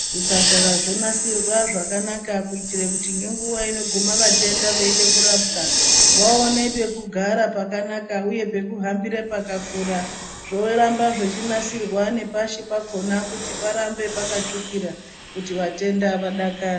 Zvipatara zvonasirwa zvakanaka kuitire kuti ngenguva inogume vatenda veide kurapwa vaone pekugara pakanaka uye pekuhambire pakakura zvoramba zvechinasirwa nepashi pakona kuti parambe pakatsvukira kuti vatenda vadakare.